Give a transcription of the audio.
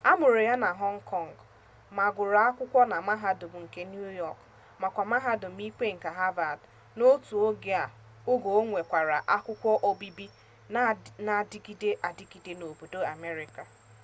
a mụrụ ya na họng kọng ma gụrụ akwụkwọ na mahadum nke niu yọk makwa mahadum ikpe nke havad n'otu oge o nwekwara akwukwo obibi na-adigide adigide nke obodo amerịka